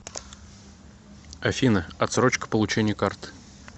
афина отсрочка получения карты